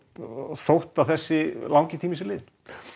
þótt þessi langi tími sé liðinn